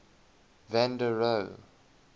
van der rohe